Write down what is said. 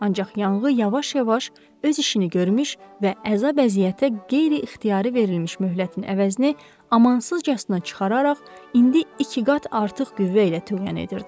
Ancaq yanğı yavaş-yavaş öz işini görmüş və əzab-əziyyətə qeyri-ixtiyari verilmiş möhlətin əvəzini amansızcasına çıxararaq indi iki qat artıq qüvvə ilə tövrən edirdi.